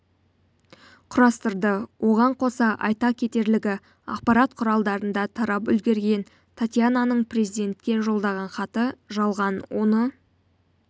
құрастырды оған қоса айта кетерлігі ақпарат құралдарында тарап үлгерген татьянаның президентке жолдаған хаты жалған оны